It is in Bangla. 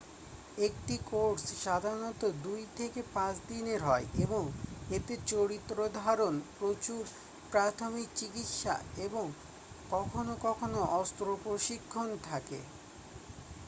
একটি কোর্স সাধারণত 2-5 দিনের হয় এবং এতে চরিত্রধারন প্রচুর প্রাথমিক চিকিৎসা এবং কখনো কখনো অস্ত্র প্রশিক্ষণ থাকে